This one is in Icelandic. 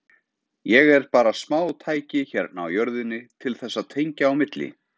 Ég er bara smátæki hérna á jörðinni til þess að tengja á milli.